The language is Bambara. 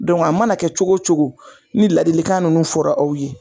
a mana kɛ cogo cogo, ni ladilikan nunnu fɔra aw ye